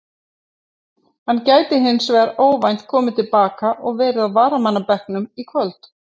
Hann gæti hins vegar óvænt komið til baka og verið á varamannabekknum í kvöld.